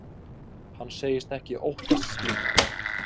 Hann segist ekki óttast slíkt.